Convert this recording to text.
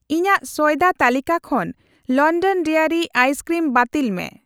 ᱤᱧᱟᱜ ᱥᱚᱭᱫᱟ ᱛᱟᱹᱞᱤᱠᱟ ᱠᱷᱚᱱ ᱞᱚᱱᱰᱚᱱ ᱰᱟᱭᱨᱤ ᱟᱭᱤᱥ ᱠᱨᱤᱢ ᱵᱟᱹᱛᱤᱞ ᱢᱮ ᱾